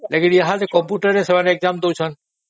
କିନ୍ତୁ ଏଠି ଏମାନେ କମ୍ପୁଟରରେ exam ଦେଉଛନ୍ତି